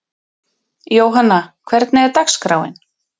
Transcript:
Jóhanna, hvernig er dagskráin?